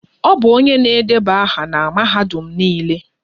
Ọ bụ onye na-edeba aha na Mahadum Nile.